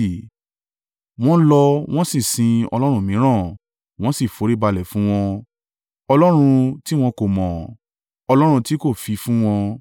Wọ́n lọ wọ́n sì sin ọlọ́run mìíràn, wọ́n sì foríbalẹ̀ fún wọn, ọlọ́run tí wọn kò mọ̀, ọlọ́run tí kò fi fún wọn.